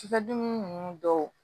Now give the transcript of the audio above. Cikɛ dumuni ninnu dɔw